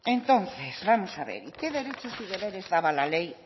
entonces vamos a ver qué derechos y deberes daba la ley